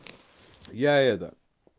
я это